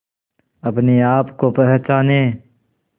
अपने आप को पहचाने